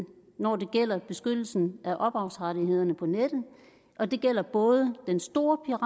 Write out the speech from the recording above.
når det gælder beskyttelsen af ophavsrettighederne på nettet og det gælder både den store